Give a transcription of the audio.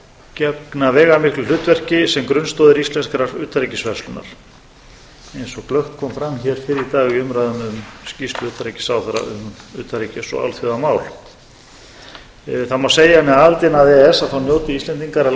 gegna veigamiklu hlutverki sem grunnstoðir íslenskrar utanríkisverslunar eins og glöggt kom fram hér fyrr í dag í umræðum um skýrslu utanríkisráðherra um utanríkis og alþjóðamál það má segja að með aðildinni að e e s njóti íslendingar að